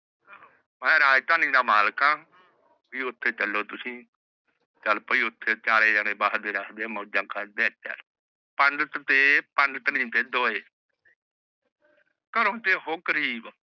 ਮੈਂ ਰਾਜਧਾਨੀ ਦਾ ਮਲਿਕ ਆਂ ਵੀ ਓਥੇ ਚਲੋ ਤੁਸੀਂ, ਚਲ ਪਯੀ ਉਥੇ ਚਾਰੇ ਜਣੇ ਬਸਦੇ ਰੱਜਦੇ ਮੌਜਾ ਕਰਦੇ ਪੰਡਤ ਤੇ ਪੰਡਤਨੀ ਦੇ ਦੋਹੇ ਘਰੋ ਤੇ ਊਹ ਗਰੀਬ